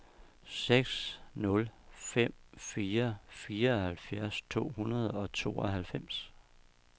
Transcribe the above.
seks nul fem fire fireoghalvfjerds to hundrede og tooghalvfems